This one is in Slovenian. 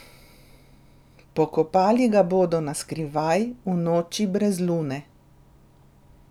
Pokopali ga bodo na skrivaj, v noči brez lune.